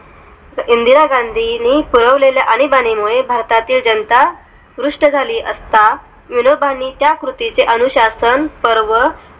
इंदिरा गांधी नी मिळव लेल्या आणीबाणी मुळे भारतातील जनता त्रस्त झाली असता विनोबांनी त्या कृती चे अनुशासन पर्व